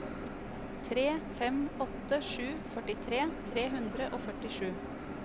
tre fem åtte sju førtitre tre hundre og førtisju